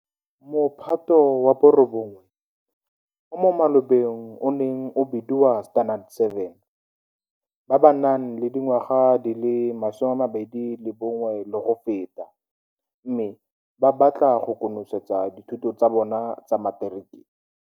Mophato wa bo 9, o mo malobeng o neng o bediwa Standard 7, ba ba nang le dingwaga di le 21 le go feta, mme ba batla go konosetsa dithuto tsa bona tsa materiki.